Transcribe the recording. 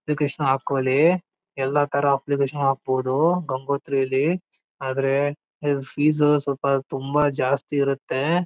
Application ಹಾಕೊಳಿ. ಎಲ್ಲ ತಾರಾ ಅಪ್ಲಿಕೇಶನ್ ಹಾಕಬಹುದು ಗಂಗೋತ್ರಿಯಲ್ಲಿ ಆದ್ರೆ ಫೀಸ್ ಸ್ವಲ್ಪ ತುಂಬಾ ಜಾಸ್ತಿ ಇರುತ್ತೆ.